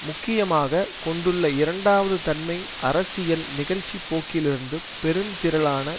முக்கியமாக கொண்டுள்ள இரண்டாவது தன்மை அரசியல் நிகழ்ச்சிப்போக்கிலிருந்து பெரும்திரளான